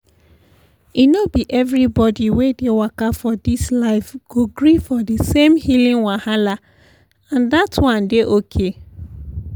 e no be everybody wey dey waka for this life go gree for the same healing wahala and dat one dey okay.